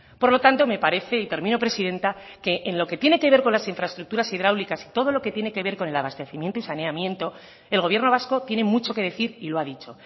por lo tanto me parece y termino presidenta que en lo que tiene que ver con las infraestructuras hidráulicas y todo lo que tiene que ver con el abastecimiento y saneamiento el gobierno vasco tiene mucho que decir y lo ha dicho